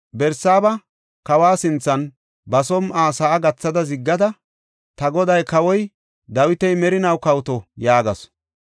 Barsaaba kawa sinthan ba som7uwa sa7a gathada ziggada, “Ta goday, Kawoy Dawiti merinaw kawoto!” yaagasu.